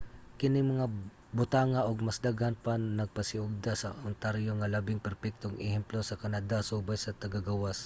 kining mga butanga ug mas daghan pa nagpasiugda sa ontario nga labing perpektong ehemplo sa canada subay sa taga-gawas